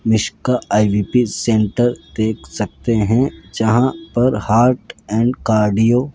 Miska IBP centre देख सकते है जहां पर हार्ट एंड कार्डियो --